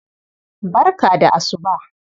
Barka da asuba.